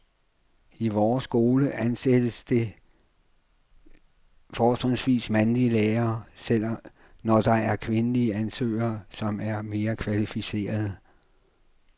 I vores skole ansættes der fortrinsvis mandlige lærere, selv når der er kvindelige ansøgere, som er mere kvalificerede.